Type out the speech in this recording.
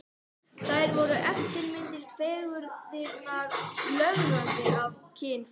Þær voru eftirmyndir fegurðarinnar, löðrandi af kynþokka.